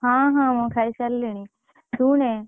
ହଁ ହଁ ଖାଇ ସାରିଲିଣି, ଶୁଣେ